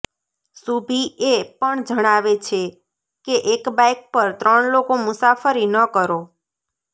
શુભી એ પણ જણાવે છે કે એક બાઈક પર ત્રણ લોકો મુસાફરી ન કરો